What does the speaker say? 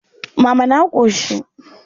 Mama na ƙoshi.